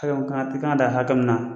Ayiwa i ka kan i ka kan ka da hakɛ min na.